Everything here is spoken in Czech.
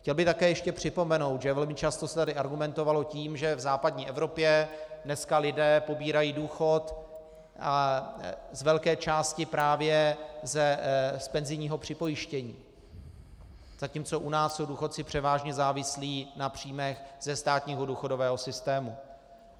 Chtěl bych také ještě připomenout, že velmi často se tady argumentovalo tím, že v západní Evropě dnes lidé pobírají důchod z velké části právě z penzijního připojištění, zatímco u nás jsou důchodci převážně závislí na příjmech ze státního důchodového systému.